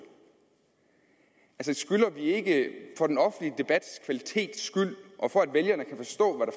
skylder vi ikke for den offentlige debats kvalitets skyld og for at vælgerne kan forstå